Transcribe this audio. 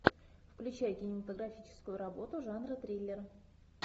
включай кинематографическую работу жанра триллер